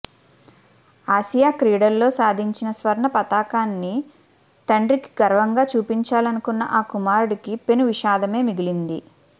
Asia క్రీడల్లో సాధించిన స్వర్ణ పతకాన్ని తండ్రికి గర్వంగా చూపించాలనుకున్న ఆ కుమారుడికి పెను విషాదమే మిగిలింది